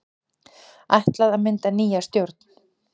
Ætlað að mynda nýja stjórn